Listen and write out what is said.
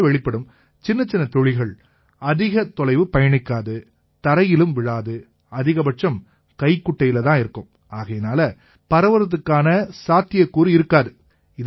இதனால வெளிப்படும் சின்னச்சின்ன துளிகள் அதிக தொலைவு பயணிக்காது தரையிலயும் விழாது அதிகபட்சம் கைக்குட்டையில தான் இருக்கும் ஆகையால பரவறதுக்கான சாத்தியக்கூறு இருக்காது